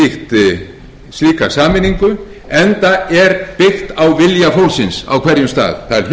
inn í slíka sameiningu enda er byggt á vilja fólksins á hverjum stað